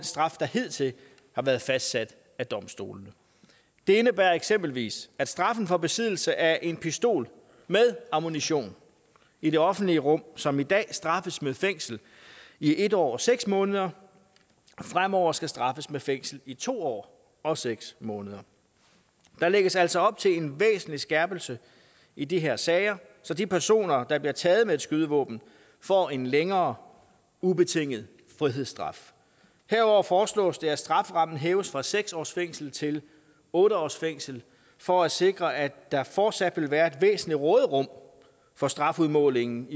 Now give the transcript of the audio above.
straf der hidtil har været fastsat af domstolene det indebærer eksempelvis at straffen for besiddelse af en pistol med ammunition i det offentlige rum som i dag straffes med fængsel i en år og seks måneder fremover skal straffes med fængsel i to år og seks måneder der lægges altså op til en væsentlig skærpelse i de her sager så de personer der bliver taget med et skydevåben får en længere ubetinget frihedsstraf herudover foreslås det at strafferammen hæves fra seks års fængsel til otte års fængsel for at sikre at der fortsat vil være et væsentligt råderum for strafudmålingen